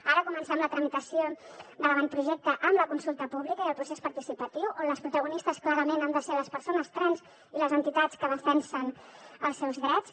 ara comencem la tramitació de l’avantprojecte amb la consulta pública i el procés participatiu on les protagonistes clarament han de ser les persones trans i les entitats que defensen els seus drets